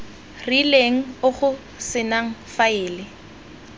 rileng o go senang faele